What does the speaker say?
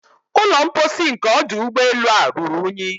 Ụlọ mposi nke ọdụ ụgbọelu a ruru unyi.